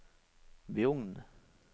Bjugn